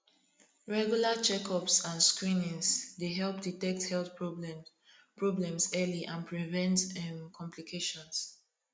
regular checkups and screenings dey help detect health problems problems early and prevent um complications